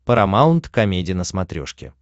парамаунт комеди на смотрешке